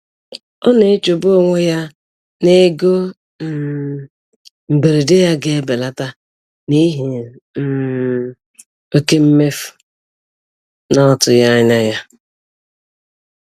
Ọ na-echegbu onwe ya n'ego um mberede ya ga-ebelata n'ihi um oke mmefu na ọ tụghị anya ya.